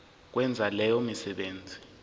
ukwenza leyo misebenzi